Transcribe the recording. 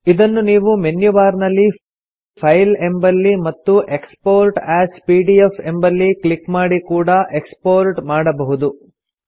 ಇದನ್ನು ನೀವು menu bar ನಲ್ಲಿ ಫೈಲ್ ಎಂಬಲ್ಲಿ ಮತ್ತು ಎಕ್ಸ್ಪೋರ್ಟ್ ಎಎಸ್ ಪಿಡಿಎಫ್ ಎಂಬಲ್ಲಿ ಕ್ಲಿಕ್ ಮಾಡಿ ಕೂಡಾ ಎಕ್ಸ್ಪೋರ್ಟ್ ಮಾಡಬಹುದು